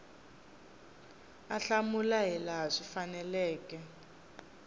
a hlamula hilaha swi faneleke